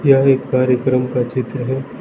यह एक कार्यक्रम का चित्र है।